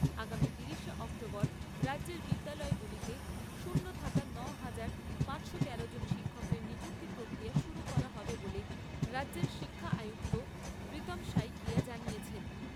আগামী তিরিশে অক্টোবর রাজ্যের বিদ্যালয়গুলিতে শূন্য থাকা ন'হাজার পাঁচশো তেরো জন শিক্ষকের নিযুক্তি প্রক্রিয়া শুরু করা হবে বলে রাজ্যের শিক্ষা আয়ুক্ত প্রীতম শইকীয়া জানিয়েছেন।